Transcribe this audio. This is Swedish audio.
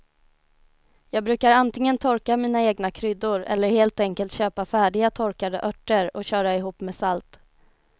Jag brukar antingen torka mina egna kryddor eller helt enkelt köpa färdiga torkade örter och köra ihop med salt.